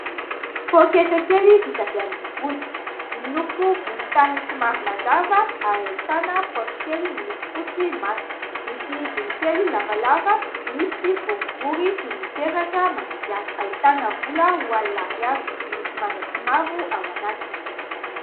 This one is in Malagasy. Pôketra kely vita avy amin'ny hoditra, miloko volontany somary mazava ary ahitana paosy kely, miloko fotsy matroka, misy hidiny kely lavalava, misy boribory toy ny peratra manidy azy, ahitana vola roa alina ariary miloko manga sy mavo ao anatiny.